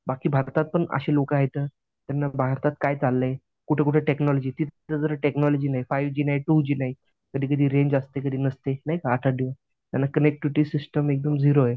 बाकी भारतात पण असे लोकं आहेत, त्यांना भारतात काय चाललंय कुठं कुठं टेक्नॉलॉजी तिथं तर टेक्नॉलॉजी नाही फाईव्ह जी नाही टू जी नाही. कधी कधी रेंज असते कधी कधी नसते नाही का आठ आठ दिवस. त्यांना कनेक्टिव्हिटी सिस्टम एकदम झिरो आहे.